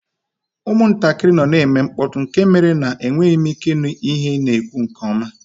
Ụmụntakịrị nọ na-eme mkpọtụ nke mere na enweghị m ike ịnụ ihe ị na-ekwu ọfụma